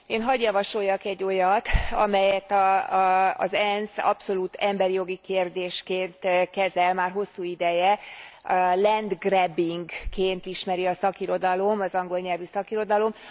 Én had javasoljak egy olyat, amelyet az ENSZ abszolút emberi jogi kérdésként kezel már hosszú ideje, land grabbing ként ismeri a szakirodalom, az angol nyelvű szakirodalom.